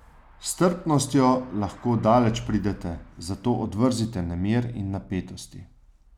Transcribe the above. S strpnostjo lahko daleč pridete, zato odvrzite nemir in napetosti.